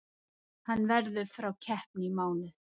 Hann verður frá keppni í mánuð.